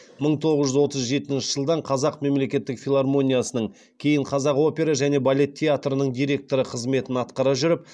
мың тоғыз жүз отыз жетінші жылдан қазақ мемлекеттік филармониясының кейін қазақ опера және балет театрының директоры қызметін атқара жүріп